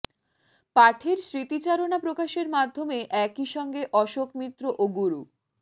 পাঠের স্মৃতিচারণা প্রকাশের মাধ্যমে একই সঙ্গে অশোক মিত্র ও গুরু